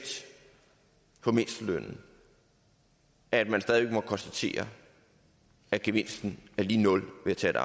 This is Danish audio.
på mindstelønnen at man stadig væk må konstatere at gevinsten er lig nul ved at